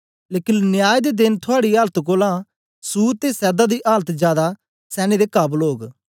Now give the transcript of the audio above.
लेकन न्याय दे देन थुआड़ी आलत कोलां सूर ते सैदा दी आलत जादै सैने काबल ओग